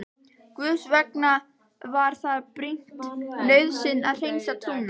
Guðs vegna var það brýn nauðsyn að hreinsa trúna.